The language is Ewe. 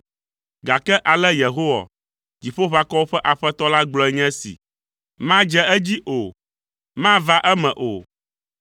Gake ale Yehowa Dziƒoʋakɔwo ƒe Aƒetɔ la gblɔe nye esi: “ ‘Madze edzi o, mava eme o,